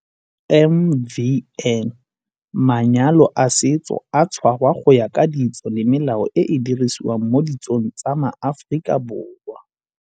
MvN - Manyalo a setso a tshwarwa go ya ka ditso le melao e e dirisiwang mo ditsong tsa maAforika Borwa.